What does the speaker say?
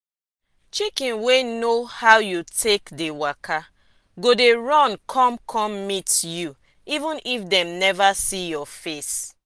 chicken wey know how you take dey waka go dey run come come meet you even if dem neva see your face.